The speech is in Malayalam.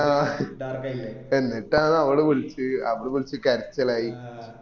ആ എന്നിട്ടാണ് അവള് വിളിച് അവള് വിളിച് കരച്ചിലായി